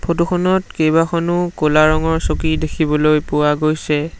ফটোখনত কেবাখনো ক'লা ৰঙৰ চকী দেখিবলৈ পোৱা গৈছে।